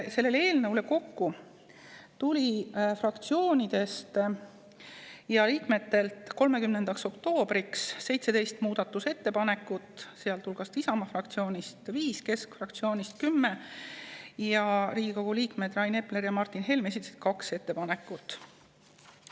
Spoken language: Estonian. Selle eelnõu kohta tuli fraktsioonidest ja liikmetelt 30. oktoobriks kokku 17 muudatusettepanekut: Isamaa fraktsioonist 5 ja keskfraktsioonist 10 ning Riigikogu liikmed Rain Epler ja Martin Helme esitasid 2 ettepanekut.